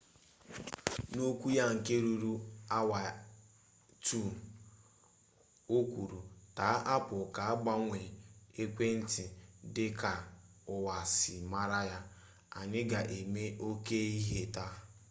n'okwu ya nke ruru awa 2 o kwuru taa apple ga-agbanwe ekwentị dị ka ụwa si mara ya anyị ga-eme oke ihe taa